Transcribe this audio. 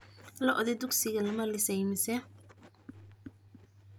Lo'dii dugsiga lama lisay mise